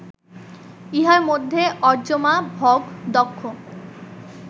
ইহার মধ্যে অর্য্যমা, ভগ, দক্ষ